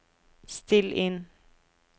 still inn